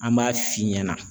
An b'a f'i ɲɛna